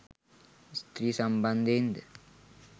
ස්ත්‍රිය සම්බන්ධයෙන් ද